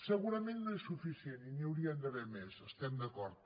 segurament no és suficient i n’hi haurien d’haver més hi estem d’acord